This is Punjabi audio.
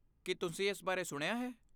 ਕੀ ਤੁਸੀਂ ਇਸ ਬਾਰੇ ਸੁਣਿਆ ਹੈ?